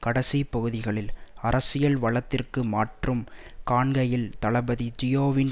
கடைசிப் பகுதிகளில் அரசியல் வலதிற்கு மாற்றம் காண்கையில் தளபதி ஜியோவின்